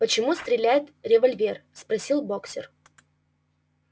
почему стреляет револьвер спросил боксёр